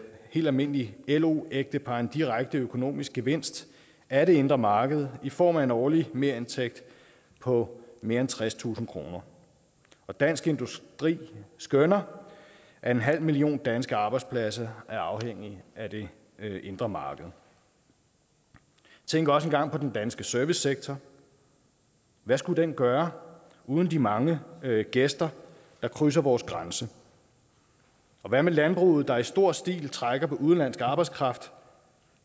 helt almindeligt lo ægtepar en direkte økonomisk gevinst af det indre marked i form af en årlig merindtægt på mere end tredstusind kroner og dansk industri skønner at en halv million danske arbejdspladser er afhængige af det indre marked tænk også engang på den danske servicesektor hvad skulle den gøre uden de mange gæster der krydser vores grænser hvad med landbruget der i stor stil trækker på udenlandsk arbejdskraft